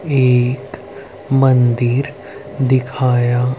एक मंदिर दिखाया--